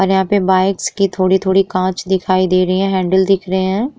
और यहाँ पे बाइकस की थोड़ी-थोड़ी कांच दिखाई दे रही है हैंडल दिख रहे है।